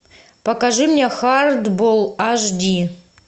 покажи мне хардбол аш ди